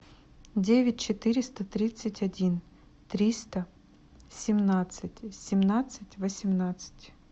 девять четыреста тридцать один триста семнадцать семнадцать восемнадцать